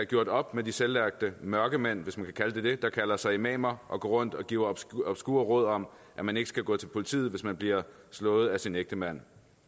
gjort op med de selvlærte mørkemænd hvis man kan kalde dem det der kalder sig imamer og går rundt og giver obskure råd om at man ikke skal gå til politiet hvis man bliver slået af sin ægtemand